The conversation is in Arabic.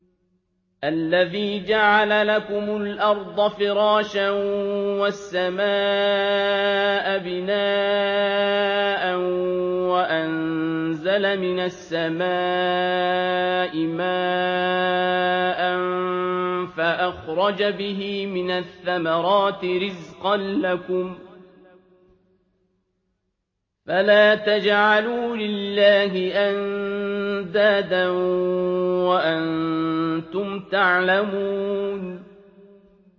الَّذِي جَعَلَ لَكُمُ الْأَرْضَ فِرَاشًا وَالسَّمَاءَ بِنَاءً وَأَنزَلَ مِنَ السَّمَاءِ مَاءً فَأَخْرَجَ بِهِ مِنَ الثَّمَرَاتِ رِزْقًا لَّكُمْ ۖ فَلَا تَجْعَلُوا لِلَّهِ أَندَادًا وَأَنتُمْ تَعْلَمُونَ